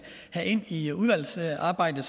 ind i udvalgsarbejdet